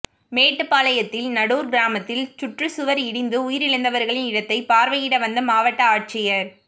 மேட்டுப்பாளையத்தில் நடூா் கிராமத்தில் சுற்றுச்சுவா் இடிந்து உயிழந்தவா்களின் இடத்தை பாா்வையிட வந்த மாவட்ட ஆட்சியா்